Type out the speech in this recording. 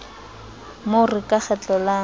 mo re qa kgetlo la